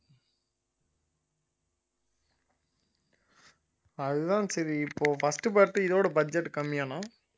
அதுதான் சரி இப்போ first part இதோட budget கம்மியாண்ணா